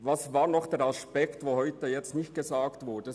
Welcher Aspekt ist heute noch nicht genannt worden?